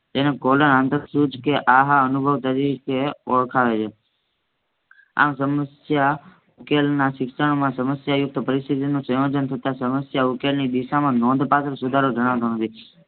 તેને કોલર આંતરસુ કે આમા અનુભવ તરીકે ઓળખાવે છે આ સમસ્યા ઉકેલના શિક્ષણમાં સમસ્યયુક્ત પરિસીથીતિનું સંયોજન થતા સમસ્યાઉકેલીની દિશામાં નોંધ પાત્ર સુધારો જાણતો નથી.